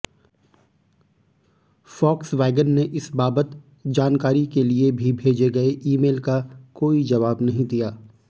Volkswagen ने इस बाबत जानकारी के भी भेजे गए ईमेल का कोई जवाब नहीं दिया